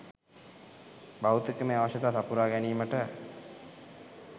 භෞතිකමය අවශ්‍යතා සපුරා ගැනීමට